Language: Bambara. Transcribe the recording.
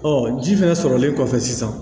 ji fɛnɛ sɔrɔlen kɔfɛ sisan